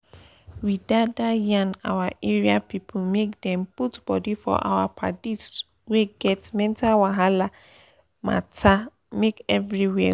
our young boys and girls need coperate with pipu wey they hep solve they hep solve mental wahala make dem do dia work